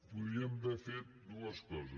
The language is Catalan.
podíem haver fet dues coses